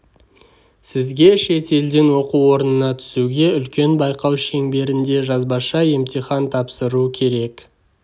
сізге шет елден оқу орнына түсуге үлкен байқау шеңберінде жазбаша емтихан тапсыру керек